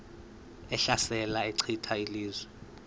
ehlasela echitha izizwe